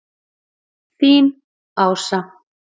Þín, Ása.